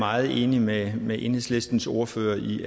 meget enig med med enhedslistens ordfører i